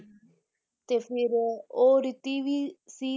ਤੇ ਫਿਰ ਉਹ ਰੀਤੀ ਵੀ ਸੀ